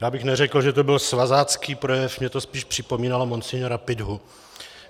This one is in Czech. Já bych neřekl, že to byl svazácký projev, mně to spíš připomínalo monsignora Piťhu.